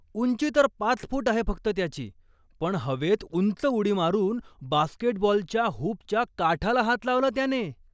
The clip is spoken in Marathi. उंची तर पाच फूट आहे फक्त त्याची. पण हवेत उंच उडी मारून बास्केटबॉलच्या हुपच्या काठाला हात लावला त्याने.